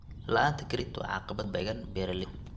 La'aanta credit credit waa caqabad ku beeralayda.